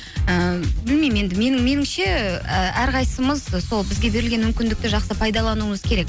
і білмеймін енді меніңше і әрқайсымыз сол бізге берілген мүмкіндікті жақсы пайдалануымыз керек